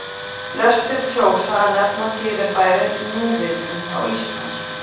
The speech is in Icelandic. Flestir kjósa að nefna fyrirbærið núvitund á íslensku.